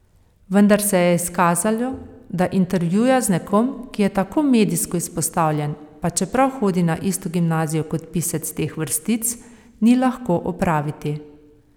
Vendar se je izkazalo, da intervjuja z nekom, ki je tako medijsko izpostavljen, pa čeprav hodi na isto gimnazijo kot pisec teh vrstic, ni lahko opraviti.